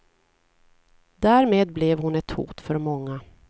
Därmed blev hon ett hot för många.